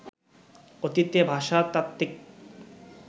অতীতে ভাষাতাত্ত্বিক